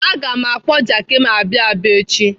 Aga m akpọ Jaki m abịa Aba echi.